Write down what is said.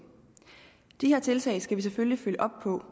de her tiltag skal vi selvfølgelig følge op på